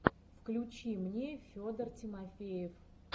включи мне федор тимофеев